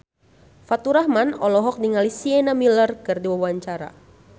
Faturrahman olohok ningali Sienna Miller keur diwawancara